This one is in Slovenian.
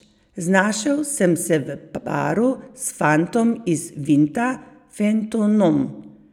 Znašel sem se v paru s fantom iz Vinta, Fentonom.